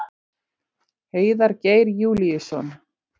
Heiðar Geir Júlíusson.